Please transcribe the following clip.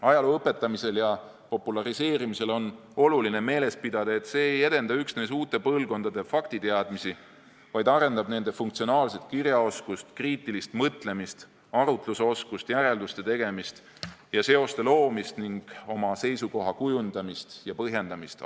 Ajaloo õpetamisel ja populariseerimisel on oluline meeles pidada, et see ei edenda üksnes uute põlvkondade faktiteadmisi, vaid arendab nende funktsionaalset kirjaoskust, kriitilist mõtlemist, arutlusoskust, järelduste tegemist ja seoste loomist ning oma seisukoha kujundamist ja põhjendamist.